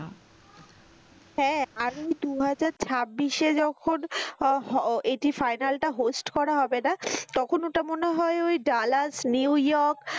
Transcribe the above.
হ্যাঁ আমি দু হাজার ছাব্বিশ এ যখন আহ হ এটি final টা host করা হবে না তখন ওটা মনে হয় ওই নিউইয়র্ক।